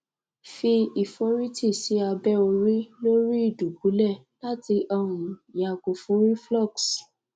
fi iforiti si abe ori lori idubule lati um yago fun cs] reflux